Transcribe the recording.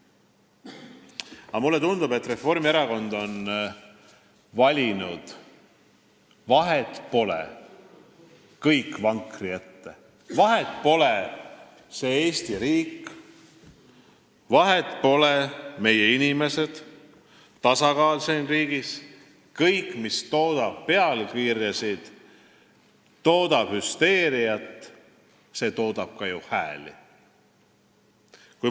Aga mulle tundub, et Reformierakond on valinud sellise tee, et vahet pole, kõik vankri ette, vahet pole, on see Eesti riik, vahet pole, on need meie inimesed ja tasakaal siin riigis – kõik, mis toodab pealkirju ja toodab hüsteeriat, see toodab ka ju hääli.